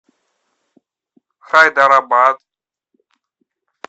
хайдарабад